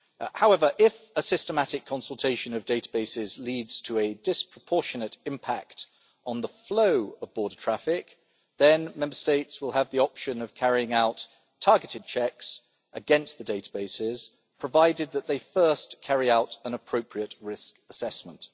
However, if a systematic consultation of databases leads to a disproportionate impact on the flow of border traffic, then Member States will have the option of carrying out targeted checks against the databases, provided that they first carry out an appropriate risk assessment.